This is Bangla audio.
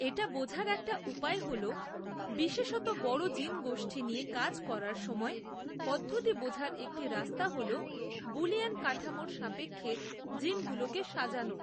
এটা বোঝার একটা উপায় হল, বিশেষত বড় জিনগোষ্ঠী নিয়ে কাজ করার সময় পদ্ধতি বোঝার একটি রাস্তা হল, বুলিয়ান কাঠামোর সাপেক্ষে জিনগুলোকে সাজানো।